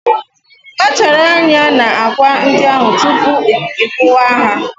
Kpachara anya na akwa ndị ahụ tupu ị kuwa ha